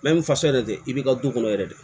ni fasa yɛrɛ dɛ i b'i ka du kɔnɔ yɛrɛ de